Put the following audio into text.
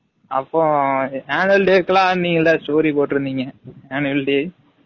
அப்போ annual day க்கு லாம் நீ ஏன் டா story போட்டு இருந்தீங்க? annual day